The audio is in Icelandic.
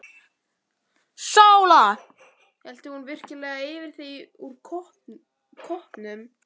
SÓLA: Hellti hún virkilega yfir þig úr koppnum!